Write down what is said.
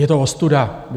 Je to ostuda.